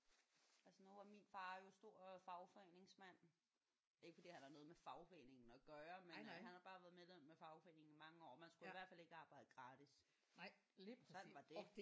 Altså nu var min far jo stor øh fagforeningsmand. Ikke fordi han havde noget med fagforeningen at gøre men øh han havde bare været medlem af fagforeningen i mange år og man skulle i hvert fald ikke arbejde gratis. Sådan var det